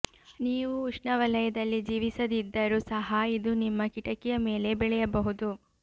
ನೀವು ಉಷ್ಣವಲಯದಲ್ಲಿ ಜೀವಿಸದಿದ್ದರೂ ಸಹ ಇದು ನಿಮ್ಮ ಕಿಟಕಿಯ ಮೇಲೆ ಬೆಳೆಯಬಹುದು